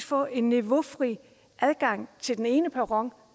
få en niveaufri adgang til den ene perron